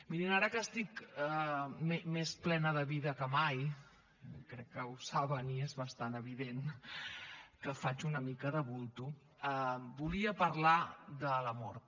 mirin ara que estic més plena de vida que mai crec que ho saben i és bastant evident que faig una mica de bulto volia parlar de la mort